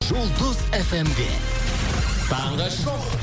жұлдыз фм де таңғы шоу